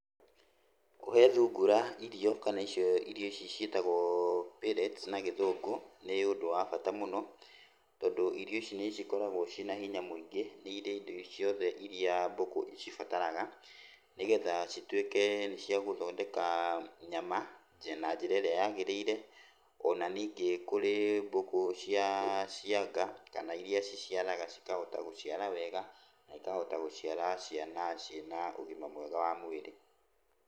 Kũhe thungura irio kana icio irio ici ciĩtagwo pellets na Gĩthungũ, nĩ ũndũ wa bata mũno, tondũ irio ici nĩcikoragwo ciĩna hinya mũingĩ, nĩirĩ indo ciothe iria mbũkũ cibataraga, nĩgetha cituĩke nĩciagũthondeka nyama na njĩra ĩrĩa yagĩrĩire. Ona ningĩ kũrĩ mbũkũ cia nga, kana iria ciciaraga cikahota gũciara wega, na ikahota gũciara ciana ciĩna ũgima mwega wa mwĩrĩ.